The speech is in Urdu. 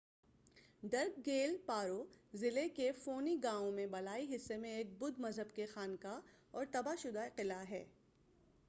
ڈرک گیل پارو ضلعے کے فونی گاؤں میں بالائی حصے میں ایک بدھ مذہب کی خانقاہ اور تباہ شدہ قلعہ ہے۔